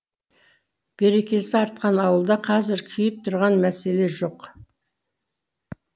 берекесі артқан ауылда қазір күйіп тұрған мәселе жоқ